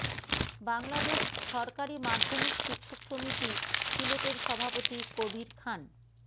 বাংলাদেশ সরকারি মাধ্যমিক শিক্ষক সমিতি সিলেটের সভাপতি কবির খান